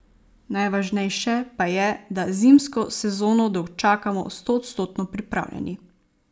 Najvažnejše pa je, da zimsko sezono dočakamo stoodstotno pripravljeni.